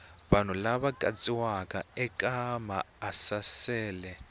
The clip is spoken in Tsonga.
vanhu lava katsiwaka eka maasesele